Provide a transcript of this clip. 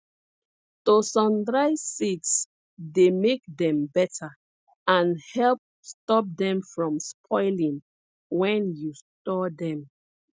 to sun dry seeds dey make dem better and help stop dem from spoiling when you store dem